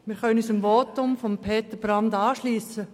Wir können uns dem Votum von Peter Brand anschliessen.